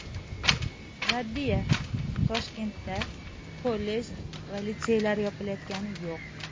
Raddiya: Toshkentda kollej va litseylar yopilayotgani yo‘q.